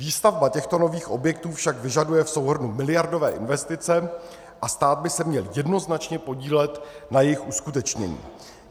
Výstavba těchto nových objektů však vyžaduje v souhrnu miliardové investice a stát by se měl jednoznačně podílet na jejich uskutečnění.